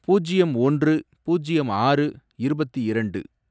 பூஜ்யம் ஒன்று, பூஜ்யம் ஆறு, இருபத்தி இரண்டு